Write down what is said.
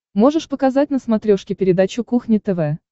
можешь показать на смотрешке передачу кухня тв